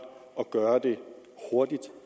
at gøre det hurtigt